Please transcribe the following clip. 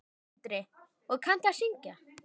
Sindri: Og kanntu að syngja?